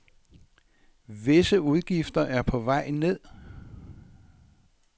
Visse udgifter er på vej ned.